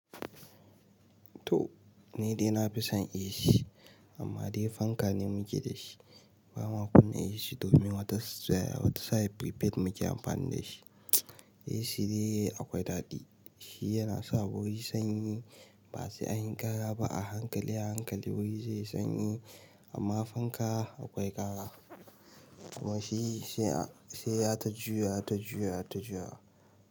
To! Ni dai na fi son AC amma dai fanka ne muke da shi. Bama kunna AC domin wata sa'i prepaid muke amfani dashi. AC dai akwai daɗi, shi yana sa wuri sanyi ba sai an yi ƙara ba, a hankali a hankali wuri zai yi sanyi amma fanka akwai kara kuma shi sai yata juyawa ta juyawa ta juyawa.